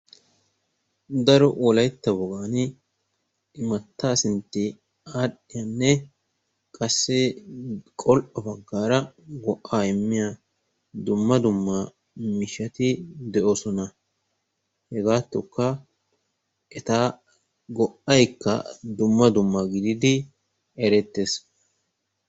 Daro wolaytta wogaani imattaa sintti aadhdhiyanne qassi qol"o baggaara go'aa immiya dumma dumma miishshati de'oosona. Hegaattokka eta go"aykka dumma dumma gididi erettees.